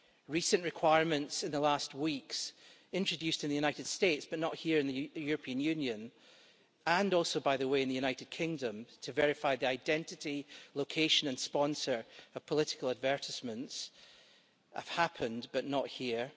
Recent requirements in the last weeks introduced in the United States, but not here in the European Union and also by the way, in the United Kingdom to verify the identity, location and sponsor of political advertisements, have happened, but not here.